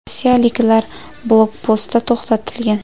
Rossiyaliklar blokpostda to‘xtatilgan.